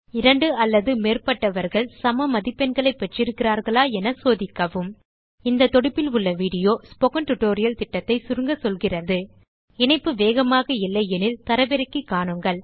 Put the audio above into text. இரண்டு அல்லது மேற்பட்டவர்கள் சம மதிப்பெண்களைப் பெற்றிருக்கிறார்களா என சோதிக்கவும் இந்த தொடுப்பில் உள்ள வீடியோ ஸ்போக்கன் டியூட்டோரியல் திட்டத்தை சுருங்க சொல்கிறது httpspokentutorialorgWhat is a Spoken Tutorial இணைப்பு வேகமாக இல்லை எனில் தரவிறக்கி காணுங்கள்